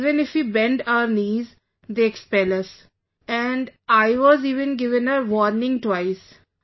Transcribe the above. Or even if we bend our knees, they expel us and I was even given a warning twice